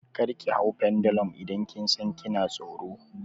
Kar ki hau pendulum idan kin san kina tsoro!